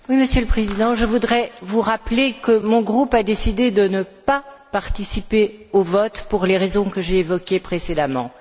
Monsieur le Président, je voudrais vous rappeler que mon groupe a décidé de ne pas participer au vote pour les raisons que j'ai évoquées précédemment.